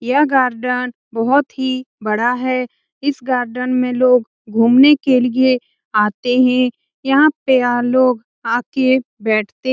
यह गार्डन बहोत ही बड़ा है इस गार्डन में लोग घूमने के लिए आते हैं यहाँ पे लोग आके बैठते --